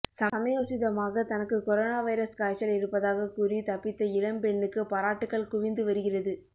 சமயோசிதமாக தனக்கு corona virus காய்ச்சல் இருப்பதாக கூறி தப்பித்த இளம்பெண்ணுக்கு பாராட்டுக்கள் குவிந்து வருகிறது